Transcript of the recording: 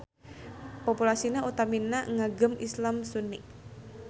Populasina utamina ngagem Islam Sunni.